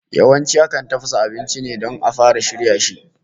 Yawanci akan tafasa ainci ne don a fara shirya shi